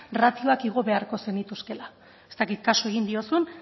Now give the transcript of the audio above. ratioak igo beharko zenituzkeela ez dakit kasu egin diozun